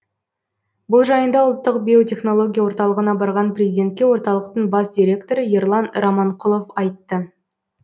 бұл жайында ұлттық биотехнология орталығына барған президентке орталықтың бас директоры ерлан раманқұлов айтты